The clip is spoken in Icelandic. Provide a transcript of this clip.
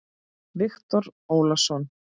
Viktor Ólason.